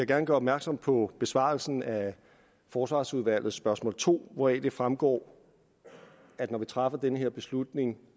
gerne gøre opmærksom på besvarelsen af forsvarsudvalgets spørgsmål to hvoraf det fremgår at når vi træffer den her beslutning